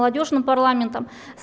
молодёжным парламентом